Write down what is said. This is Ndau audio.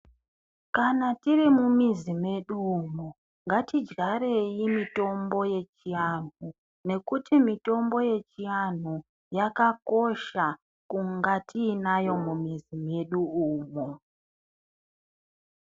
Kana tirimumizi medu umo ngatidyarei mitombo yechiantu. Nekuti mitombo yechiantu yakakosha kunga tiinayo mumizi medu umo.